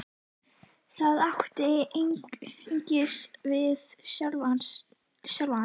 Það áttu einungis við sjálfan þig.